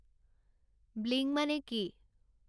bling মানে কি